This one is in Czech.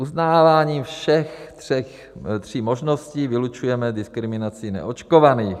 Uznáváním všech tří možností vylučujeme diskriminací neočkovaných.